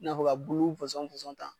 N'a fɔ ka bulu fɔsɔn fɔsɔn tan